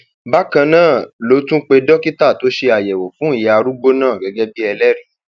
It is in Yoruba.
bákan náà ló tún pe dókítà tó ṣe àyẹwò fún ìyá arúgbó náà gẹgẹ bíi ẹlẹrìí